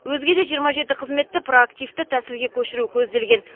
өзге де жиырма жеті қызметті проактивті тәсілге көшіру көзделген